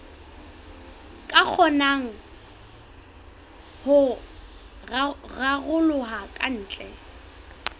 ka kgonang ho raroloha kantle